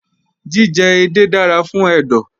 Jíjẹ edé dára fún ẹ̀dọ̀